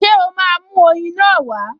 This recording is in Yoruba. Ṣé ó máa mú oyin náà wá?